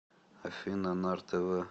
афина нар тэ вэ